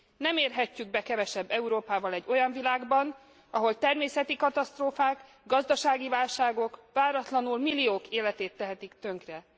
Nem érhetjük be kevesebb Európával egy olyan világban, ahol természeti katasztrófák, gazdasági válságok váratlanul milliók életét tehetik tönkre.